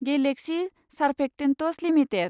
galaxy surfactants limited